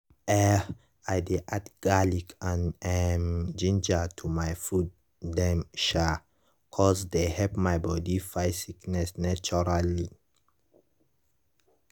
eh i dey add garlic and um ginger to my food dem um cause dey help my body fight sickness naturally.